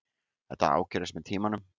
Þetta ágerðist með tímanum.